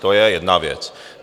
To je jedna věc.